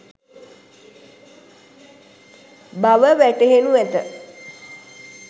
බව වැටහෙනු ඇත.